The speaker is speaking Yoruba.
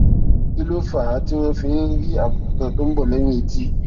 kí ló fà á tí wón fi ń rí àbùkù kan tó ń bò léyìn etí